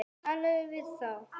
Talaðu við þá.